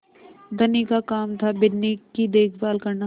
धनी का काम थाबिन्नी की देखभाल करना